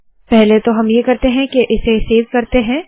पहले तो हम ये करते है के इसे सेव करते है